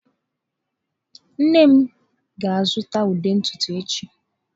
Nne m ga-azụta ude ntutu echi.